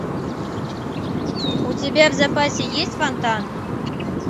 у тебя в запасе есть фонтан